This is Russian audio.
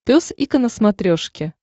пес и ко на смотрешке